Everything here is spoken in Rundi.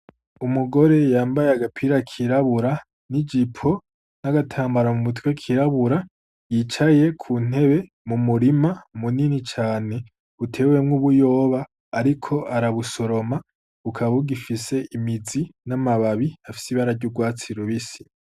Umugore yambaye agapira k’irabura, n'ijipo, n'agatambara mu mutwe k'irabura, yicaye ku ntebe mu murima munini cane utewemwo ubuyoba ariko arabusoroma, bukaba bugifise imizi n'amababi afise ibara ry’urwatsi rubisi.